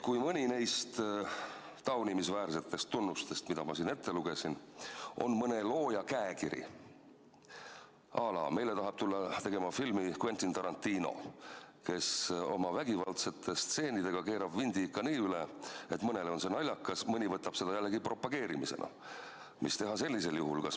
Kui mõni neist taunimisväärsetest tunnustest, mis ma siin ette lugesin, on mõne looja käekiri – à la meile tahab tulla filmi tegema Quentin Tarantino, kes oma vägivaldsete stseenidega keerab vindi ikka nii üle, et mõnele on see naljakas, aga mõni võtab seda jällegi propageerimisena –, siis mida teha sellisel juhul?